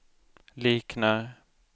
liknar